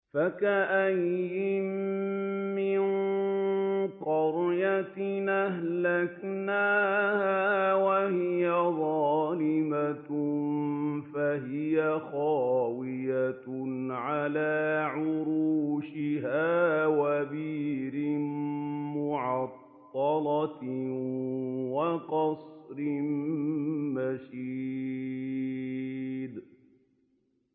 فَكَأَيِّن مِّن قَرْيَةٍ أَهْلَكْنَاهَا وَهِيَ ظَالِمَةٌ فَهِيَ خَاوِيَةٌ عَلَىٰ عُرُوشِهَا وَبِئْرٍ مُّعَطَّلَةٍ وَقَصْرٍ مَّشِيدٍ